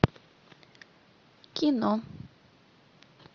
кино